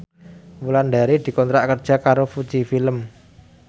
Wulandari dikontrak kerja karo Fuji Film